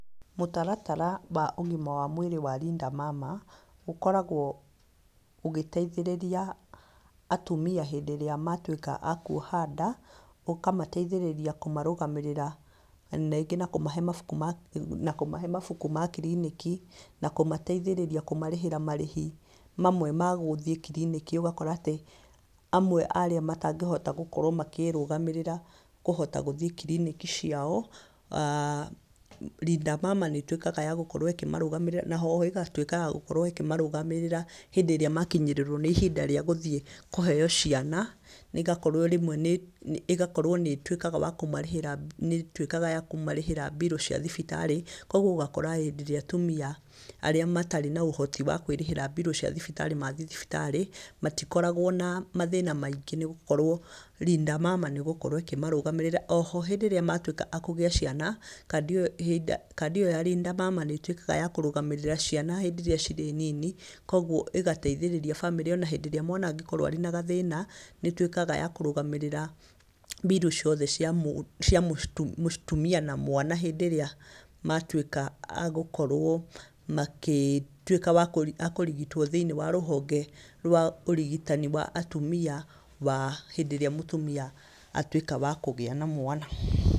Mũtaratara wa ũgima wa mwĩrĩ wa Linda Mama ũkoragwo ũgĩteithĩrĩria atumia hĩndĩ ĩrĩa matwĩka a kwoha nda, ũkamateithĩrĩria kũmarũgamĩrĩra rĩngĩ na kũmahe mabuku ma kiriniki, na kũmateithĩrĩria kũmarĩhĩra marĩhi mamwe ma gũthiĩ kiriniki ũgakora atĩ amwe arĩa matangĩhota gũkorwo makĩrũgamĩrĩra kũhota gũthiĩ kiriniki ciao, aah, Linda Mama nĩtwĩkaga ya gũkorwo ĩkĩmarũgamĩrĩra, na ho ĩgatwĩka ya gũkorwo ĩkĩmarũgamĩrĩra hĩndĩ ĩrĩa makinyĩrĩrwo nĩ ihinda rĩa gũthiĩ kũheo ciana. Ĩgakorwo nĩ ĩtwĩkaga ya kũmarĩhĩra mbirũ cia thibitarĩ. Kogwo ũgakora hĩndĩ ĩrĩa atumia arĩa matarĩ na ũhoti wa kwĩrĩhĩra mbirũ cia thibitarĩ mathiĩ thibitarĩ, matikoragwo na mathĩna maingĩ nĩ gũkorwo Linda Mama nĩgũkorwo ĩkĩmarũgamĩrĩra. Oho hĩndĩ ĩrĩa matwĩka a kũgĩa ciana, kandi ĩyo ya Linda Mama nĩtwĩkaga ya kũrũgamĩrĩra ciana hĩndĩ ĩrĩa cirĩ nini, kogwo ĩgateĩthĩrĩria bamĩrĩ ona hĩndĩ ĩrĩa mwana angĩkorwo arĩ na gathĩna nĩtwĩkaga ya kũrũgamĩrĩra mbirũ ciothe cia mũtumia na mwana hĩndĩ ĩrĩa matwĩka a gũkorwo makĩtwĩka a kũrigitwo thĩ-inĩ wa rũhonge rwa ũrigitani wa atumia wa hĩndĩ ĩrĩa mũtumia atwĩka wa kũgĩa na mwana.